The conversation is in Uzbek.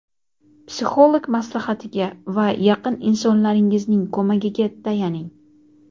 psixolog maslahatiga va yaqin insonlaringizning ko‘magiga tayaning.